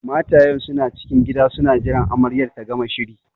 Matayen suna cikin gida suna jiran amaryar ta gama shiri